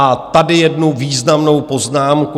A tady jednu významnou poznámku.